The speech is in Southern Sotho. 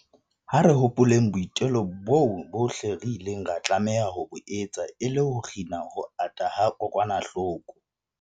Ha re hopoleng boitelo boo bohle re ileng ra tlameha ho bo etsa e le ho kgina ho ata ha kokwanahloko